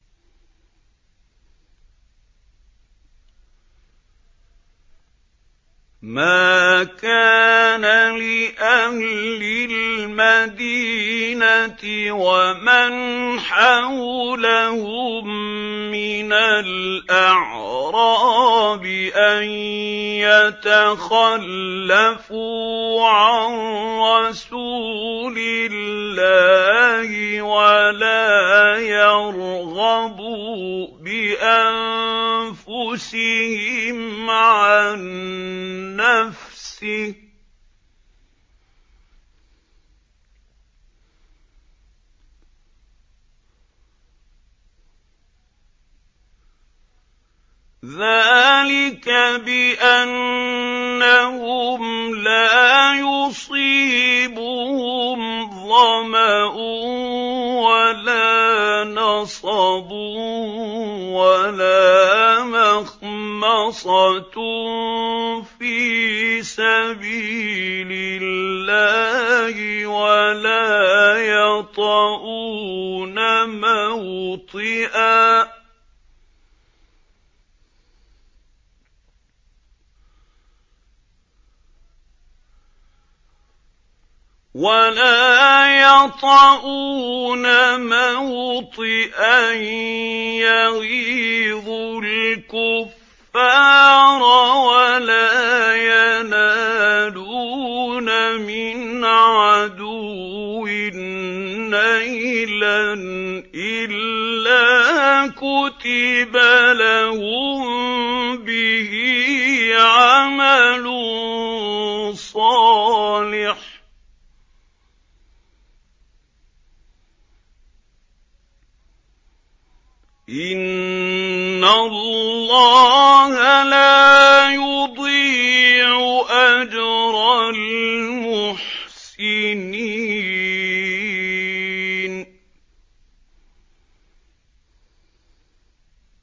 مَا كَانَ لِأَهْلِ الْمَدِينَةِ وَمَنْ حَوْلَهُم مِّنَ الْأَعْرَابِ أَن يَتَخَلَّفُوا عَن رَّسُولِ اللَّهِ وَلَا يَرْغَبُوا بِأَنفُسِهِمْ عَن نَّفْسِهِ ۚ ذَٰلِكَ بِأَنَّهُمْ لَا يُصِيبُهُمْ ظَمَأٌ وَلَا نَصَبٌ وَلَا مَخْمَصَةٌ فِي سَبِيلِ اللَّهِ وَلَا يَطَئُونَ مَوْطِئًا يَغِيظُ الْكُفَّارَ وَلَا يَنَالُونَ مِنْ عَدُوٍّ نَّيْلًا إِلَّا كُتِبَ لَهُم بِهِ عَمَلٌ صَالِحٌ ۚ إِنَّ اللَّهَ لَا يُضِيعُ أَجْرَ الْمُحْسِنِينَ